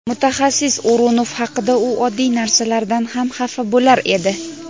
Mutaxassis O‘runov haqida: "U oddiy narsalardan ham xafa bo‘lar edi".